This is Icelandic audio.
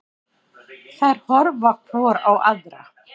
Þær horfa hvor á aðra.